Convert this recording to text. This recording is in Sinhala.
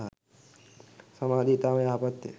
සමාධිය ඉතාම යහපත්ය